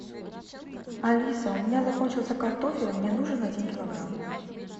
алиса у меня закончился картофель мне нужен один килограмм